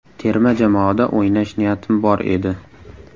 Terma jamoada o‘ynash niyatim bor edi.